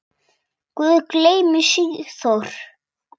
Guð geymi Sigþór.